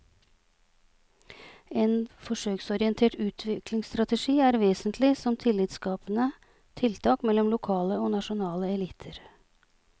En forsøksorientert utviklingsstrategi er vesentlig som tillitsskapende tiltak mellom lokale og nasjonale eliter.